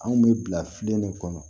Anw kun bɛ bila filen ne kɔnɔ